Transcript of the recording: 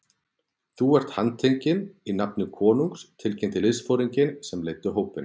Þú er handtekinn í nafni konungs tilkynnti liðsforinginn sem leiddi hópinn.